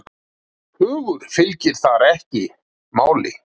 Hugur fylgir þar ekki máli.